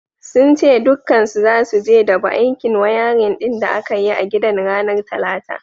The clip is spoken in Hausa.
Sun ce dukkansu zasu je su dabu aikin wayarin din da aka yi a gidan ranar talata.